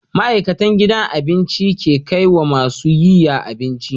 Ma'aikatan gidan abincin ke kaiwa masu yiya abinci